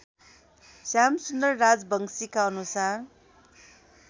श्यामसुन्दर राजवंशीका अनुसार